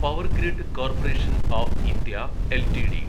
power grid corporation of India LTD